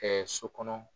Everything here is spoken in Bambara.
so kɔnɔ